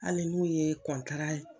Hali n'u ye kɔntara